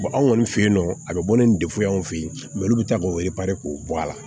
anw kɔni fe yen nɔ a be bɔ ni defuye an fe yen mɛ olu be taa k'o k'o bɔ a la